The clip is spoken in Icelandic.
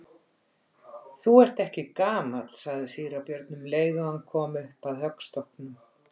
Þú ert ekki gamall, sagði síra Björn um leið og hann kom upp að höggstokknum.